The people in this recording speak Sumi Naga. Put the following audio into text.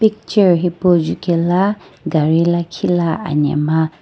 picture hipou jukaelo gari lakhi la anamgha.